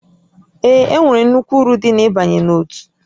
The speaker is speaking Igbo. Ee, e nwere nnukwu uru dị n'ịbanye n'òtù